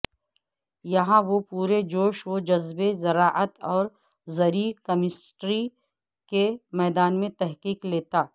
یہاں وہ پورے جوش و جذبے زراعت اور زرعی کیمسٹری کے میدان میں تحقیق لیتا